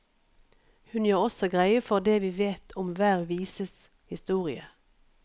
Hun gjør også greie for det vi vet om hver vises historie.